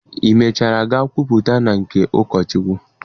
Ị mechara gaa kwupụta na nke ụkọchukwu?